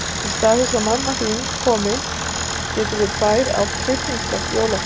Í stað þess að mamma þín komi getum við tvær átt tryllingslegt jólafrí.